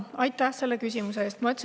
Aitäh selle küsimuse eest!